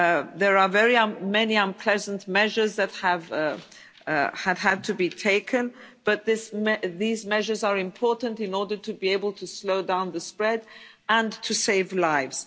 There are very many unpleasant measures that have had to be taken, but these measures are important in order to be able to slow down the spread and to save lives.